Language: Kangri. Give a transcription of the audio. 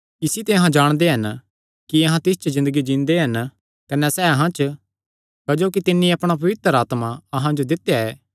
इसी ते अहां जाणदे हन कि अहां तिस च ज़िन्दगी जींदे हन कने सैह़ अहां च क्जोकि तिन्नी अपणा पवित्र आत्मा अहां जो दित्या ऐ